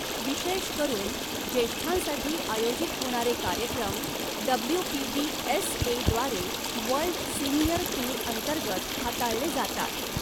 विशेष करून ज्येष्ठांसाठी आयोजित होणारे कार्यक्रम डब्ल्यूपीबीएसएद्वारे वर्ल्ड सीनियर टूर अंतर्गत हाताळले जातात.